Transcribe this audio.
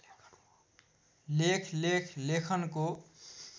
लेख लेख लेखनको